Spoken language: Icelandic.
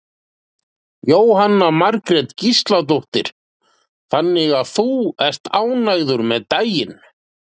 Jóhanna Margrét Gísladóttir: Þannig að þú ert ánægður með daginn?